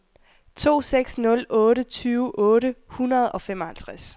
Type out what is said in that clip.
to seks nul otte tyve otte hundrede og femoghalvtreds